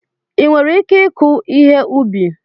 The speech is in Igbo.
Ị nwere ike ịkụ ihe ubi?